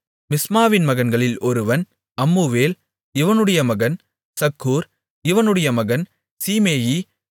மிஸ்மாவின் மகன்களில் ஒருவன் அம்முவேல் இவனுடைய மகன் சக்கூர் இவனுடைய மகன் சீமேயி